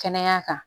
Kɛnɛya kan